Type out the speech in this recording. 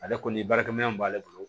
Ale kɔni baarakɛminɛ mun b'ale bolo